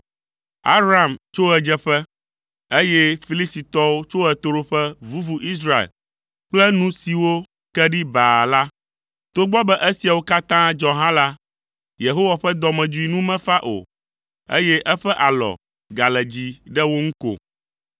Aram tso ɣedzeƒe, eye Filistitɔwo tso ɣetoɖoƒe vuvu Israel kple nu siwo ke ɖi baa la. Togbɔ be esiawo katã dzɔ hã la, Yehowa ƒe dɔmedzoe nu mefa o, eye eƒe alɔ gale dzi ɖe wo ŋu ko.